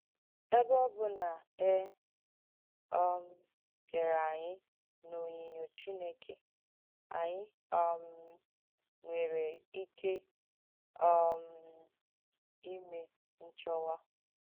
Èbē ọ bụ̀ na e um kèrē ànyị n’ònyìnyo Chineke, ànyị um nwērē ìkẹ um ìmẹ̀ ǹchọ̀nwà.